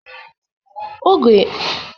Oge mbụ mụ banyere ụgbọelu bụ n'afọ puku abuo, iri na atọ